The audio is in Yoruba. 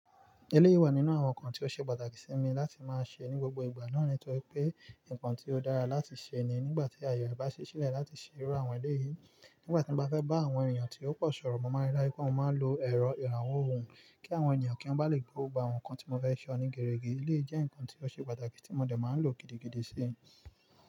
Eléyi wa nínú àwọn nǹkan tí ó ṣe pàtàkì sí mi láti máa ṣe ní gbogbo ìgbà náà ni nítorí pé nǹkan tí ó dára láti ṣe ni nígbà tí ayọ̀ bá ṣí sílẹ̀ láti ṣe irú àwọn ilé yìí. Nígbà tí mo bá fẹ́ bá àwọn èèyàn tí ó pọ̀ sọ̀rọ̀, mo máa rí dájú pé mo máa ń lo ẹ̀rọ ìrànwọ̀ ohùn kí àwọn èniyàn kí wọ́n ba lè gbọ gbo àwọn nǹkan tí mo fẹ́ ṣọ ní gerege. Eléyìí jẹ́ nǹkan tí ó ṣe pàtàkì tí mo dẹ̀ máa n lò gidigidi síi.